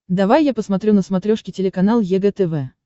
давай я посмотрю на смотрешке телеканал егэ тв